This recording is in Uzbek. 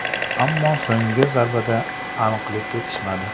Ammo so‘nggi zarbada aniqlik yetishmadi.